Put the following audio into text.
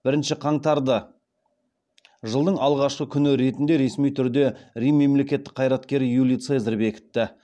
бірінші қаңтарды жылдың алғашқы күні ретінде ресми түрде рим мемлекеттік қайраткері юлий цезарь бекітті